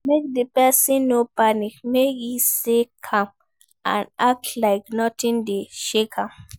Make di persin no panic make e stay calm and act like nothing de shake am